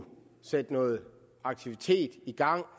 sætte noget aktivitet i gang